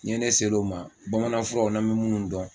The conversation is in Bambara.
N'i ye ne ser'o ma bamananfuraw n'a me minnu dɔn